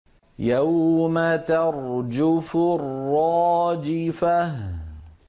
يَوْمَ تَرْجُفُ الرَّاجِفَةُ